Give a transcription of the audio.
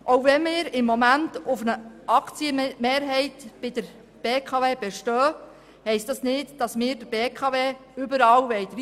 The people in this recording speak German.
Selbst wenn wir im Moment auf einer Aktienmehrheit bei der BKW bestehen, heisst das nicht, dass wir der BKW überall dreinreden wollen.